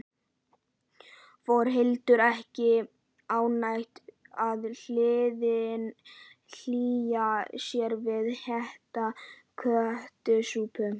Þórhildur: Er ekki ágætt að hlýja sér við heita kjötsúpu?